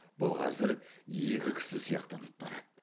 бұл қазір екі кісі сияқтанып барады